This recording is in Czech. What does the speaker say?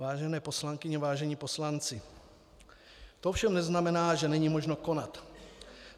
Vážené poslankyně, vážení poslanci, to ovšem neznamená, že není možno konat.